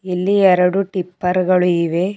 ಇಲ್ಲಿ ಎರಡು ಟಿಪ್ಪರ್ ಗಳು ಇವೆ.